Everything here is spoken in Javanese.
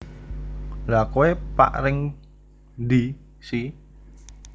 Lha kowe pak ring ndi si